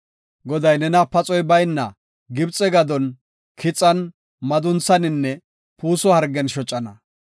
Goday nena paxoy bayna Gibxe gadon, kixan, madunthaninne puuso hergen shocana.